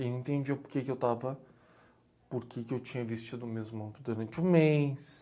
Ele entendia porque que eu estava, porque que eu tinha vestido a mesma roupa durante o mês.